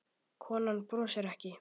Konan brosir ekki.